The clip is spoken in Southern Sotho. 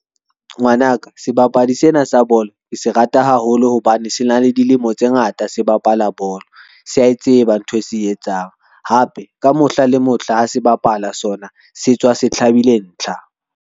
Ngwanaka, sebapadi sena sa bolo ke se rata haholo hobane se na le dilemo tse ngata se bapala bolo. Sa e tseba ntho e se etsang hape ka mohla le mohla ha se bapala sona, se tswa se hlabile ntlha.